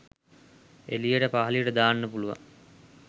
එලියට පහලියට දාන්න පුලුවන්